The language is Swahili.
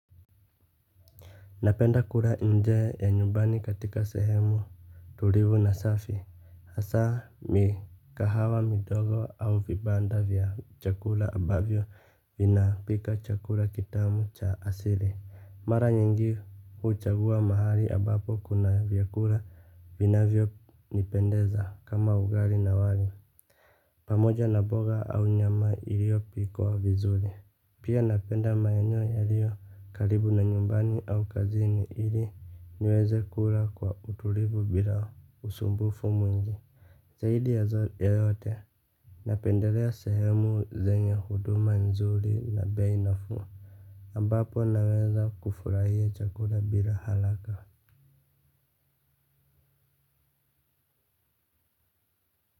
Napenda kula nje ya nyumbani katika sehemu tulivu na safi, hasa mikahawa midogo au vibanda vya chakula ambavyo vina pika chakula kitamu cha asili. Mara nyingi huchagua mahali ambapo kuna vyakula vinavyo nipendeza kama ugali na wali pamoja na mboga au nyama iliopikwa vizuri. Pia napenda maeneo yaliyo karibu na nyumbani au kazini ili niweze kula kwa utulivu bila usumbufu mwingi zaidi ya saa yoyote napendelea sehemu zenye huduma nzuri na bei nafuu. Ambapo naweza kufurahia chakula bila haraka.